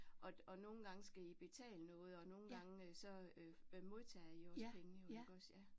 Og og nogle gange skal I betale noget og nogle gange så øh modtager I også penge jo iggås ja